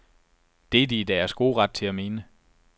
Det er de i deres gode ret til at mene.